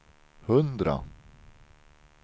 hundra